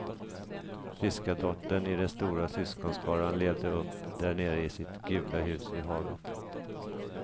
Fiskardottern i den stora syskonskaran levde upp därnere i sitt gula hus vid havet.